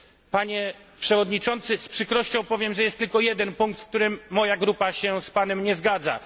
Panie przewodniczący, z przykrością powiem, że jest tylko jeden punkt, w którym moja grupa się z panem nie zgadza.